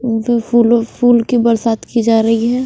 उनपे फूलों फूल की बरसात की जा रही है।